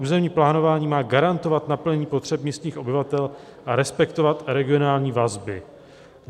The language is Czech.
Územní plánování má garantovat naplnění potřeb místních obyvatel a respektovat regionální vazby.